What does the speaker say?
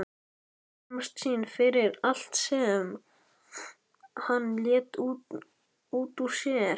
Skammast sín fyrir allt sem hann lét út úr sér.